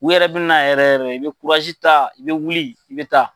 N yɛrɛ bɛ na yɛrɛ yɛrɛ i bɛ kurasi ta, i bɛ wuli ,i bɛ taa.